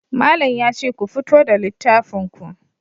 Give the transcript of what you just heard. Malam yace ku fito da littafin ku.